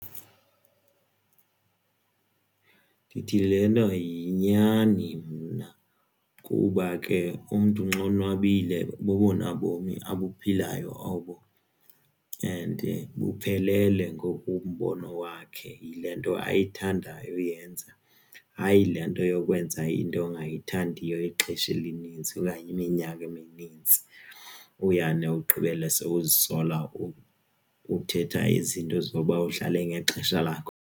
Ewe, ndithi le nto yinyani mna kuba ke umntu nxa onwabile bubona bomi abuphilayo obo and buphelele ngokombono wakhe yile nto ayithanda uyenza hayi le nto yokwenza into ongayithandiyo ixesha elinintsi, okanye iminyaka eminintsi uyane ugqibele sowuzibonela uthetha izinto zoba udlale ngexesha lakho.